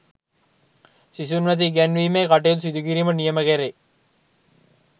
සිසුන් වෙත ඉගැන්වීමේ කටයුතු සිදුකිරීමට නියම කෙරේ